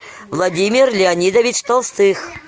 владимир леонидович толстых